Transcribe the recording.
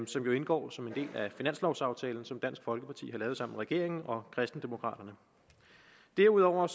som jo indgår som en del af finanslovaftalen som dansk folkeparti har lavet sammen med regeringen og kristendemokraterne derudover